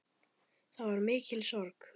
Það var mikil sorg.